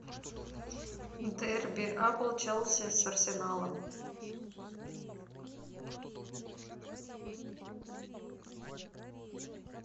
дерби апл челси с арсеналом